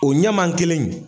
O ɲaman kelen in